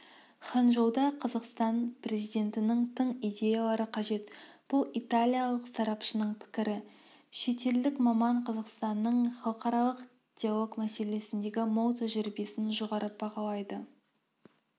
ханчжоуда қазақстан президентінің тың идеялары қажет бұл италиялық сарапшының пікірі шетелдік маман қазақстанның халықаралық диалог мәселесіндегі мол тәжірибесін жоғары бағалайды